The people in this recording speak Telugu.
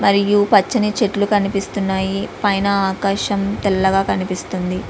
మరియు పచ్చని చెట్లు కనిపిస్తున్నాయి.పైన ఆకాశం తెల్లగా కనిపిస్తుంది.